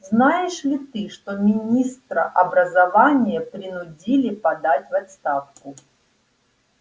знаешь ли ты что министра образования принудили подать в отставку